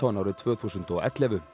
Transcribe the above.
árið tvö þúsund og ellefu